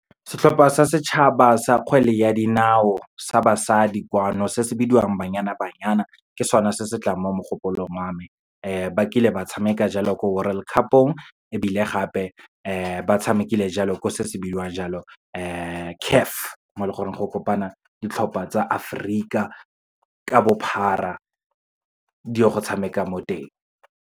Setlhopha sa setšhaba sa kgwele ya dinao sa basadi kwano, se se bidiwang Banyana Banyana, ke sone se se tlang mo mogopolong wa me. Ba kile ba tshameka jalo, ko World Cup-ong ebile gape, batshamekile jalo ko se se bidiwang jalo CAF, mo e leng gore go kopana ditlhopha tsa Aforika ka bophara, di o go tshameka mo teng.